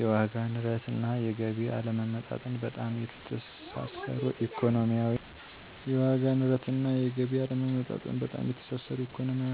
የዋጋ ንረት እና የገቢ አለመመጣጠን በጣም የተሳሰሩ ኢኮኖሚያዊ